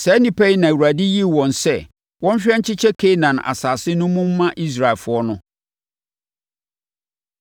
Saa nnipa yi na Awurade yii wɔn sɛ wɔnhwɛ nkyekyɛ Kanaan asase no mu mma Israelfoɔ no.